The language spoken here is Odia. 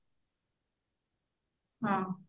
ହଁ